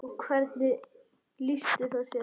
Og hvernig lýsti það sér?